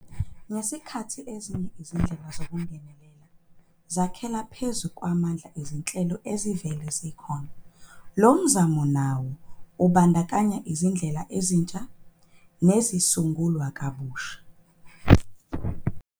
Ngesikhathi ezinye izindlela zokungenelela zakhela phezu kwamandla ezinhlelo ezivele zikhona, lo mzamo nawo ubandakanya izindlela ezintsha nezisungulwe kabusha.